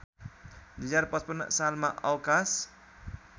२०५५ सालमा अवकाश